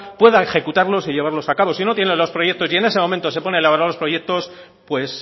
puedan ejecutarlos y llevarlos a cabo si no tienen los proyectos y en ese momento se ponen a elaborar los proyectos pues